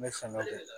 N bɛ fɛ ka kɛ